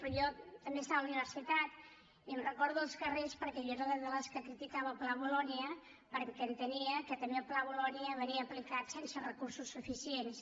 però jo també estava a la universitat i em recordo dels carrers perquè jo era de les que criticava el pla bolonya perquè entenia que també el pla bolonya venia aplicat sense recursos suficients